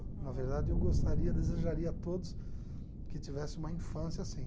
Na verdade, eu gostaria, desejaria a todos que tivesse uma infância assim.